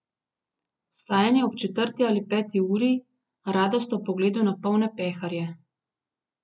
Vstajanje ob četrti ali peti uri, radost ob pogledu na polne peharje.